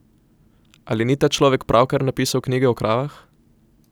Ali ni ta človek pravkar napisal knjige o kravah?